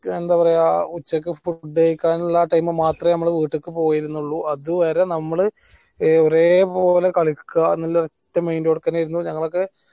എന്താ പറയാ ഉച്ചക്ക് food കഴിക്കാനുള്ള time മാത്രേ ഞമ്മള് വീട്ടിക്ക് പോയിരുന്നുള്ളു അതുവരെ നമ്മൾ ഒരേ പോലെ ക്ളിക്ക എന്നുള്ള ഒറ്റ mind യോടെ തന്നെ ആയിരുന്നു ഞങ്ങളൊക്കെ